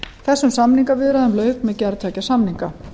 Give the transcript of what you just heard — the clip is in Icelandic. þessum samningaviðræðum lauk með gerð tveggja samninga